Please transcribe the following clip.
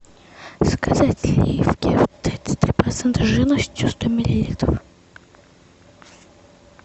заказать сливки тридцать три процента жирности сто миллилитров